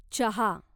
चहा